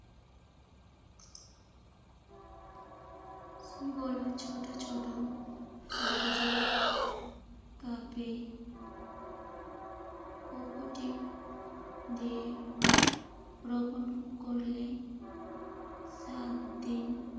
ছোট ছোট কাগজের কাপে কোকো পিট দিয়ে রোপণ করলে সাত দিন